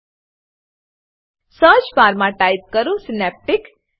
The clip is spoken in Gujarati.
સર્ચ બાર સર્ચ બાર માં ટાઈપ કરો સિનેપ્ટિક